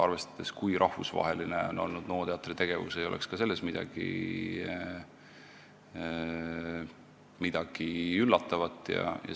Arvestades, kui rahvusvaheline on olnud NO teatri tegevus, ei oleks selles midagi üllatavat.